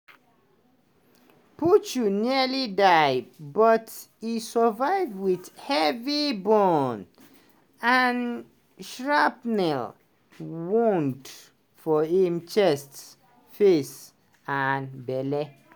puchu nearly die but e survive wit heavy burn and shrapnel wound for im chest face and belle.